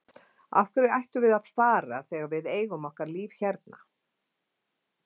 Af hverju ættum við að fara þegar við eigum okkar líf hérna?